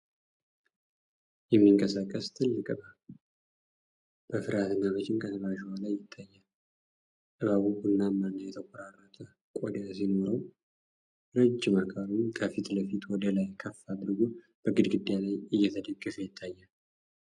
የሚንቀሳቀስ ትልቅ እባብ በፍርሃትና በጭንቀት በአሸዋ ላይ ይታያል። እባቡ ቡናማና የተቆራረጠ ቆዳ ሲኖረው፣ ረጅም አካሉን ከፊት ለፊት ወደ ላይ ከፍ አድርጎ በግድግዳ ላይ እንደተደገፈ ይታያል።